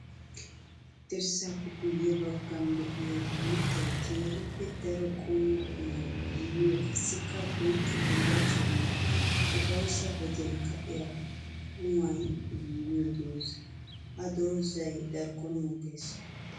Dirssappe guyye baggan de'iya uuttay keehippe daro qommo qumay giigiyo qassikka bonchcho bullachchawunne ufayssa wodiyan ka'iya qumay giigiyo dooza. Ha doozay darkkon mokees.